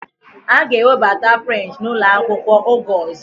A ga-ewebata French n'ụlọ akwụkwọ, oge ọzọ